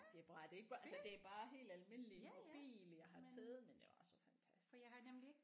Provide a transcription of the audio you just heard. Det er bare det er ikke bare altså det er bare helt almindelig mobil jeg har taget men det var så fantastisk